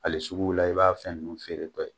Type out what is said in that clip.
Hale suguw la i b'a fɛ ninnu feere tɔ ye.